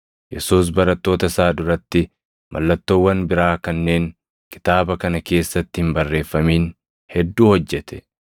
Yesuus barattoota isaa duratti mallattoowwan biraa kanneen kitaaba kana keessatti hin barreeffamin hedduu hojjete.